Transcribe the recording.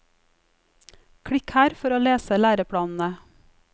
Klikk her for å lese læreplanene.